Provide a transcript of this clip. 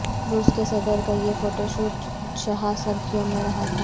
روس کے صدر کا یہ فوٹو شوٹ شہہ سرخیوں میں رہا تھا